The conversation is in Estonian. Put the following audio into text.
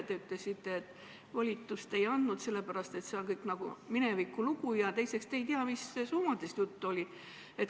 Te ütlesite, et te volitust ei andnud, sest see on kõik nagu minevikulugu ja teiseks te ei tea, mis summadest juttu oli.